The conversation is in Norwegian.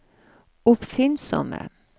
oppfinnsomme